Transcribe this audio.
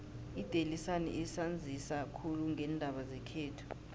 idaily sun isanzisa khulu ngeendaba zekhethu